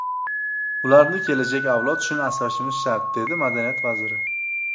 Ularni kelajak avlod uchun asrashimiz shart”, dedi madaniyat vaziri.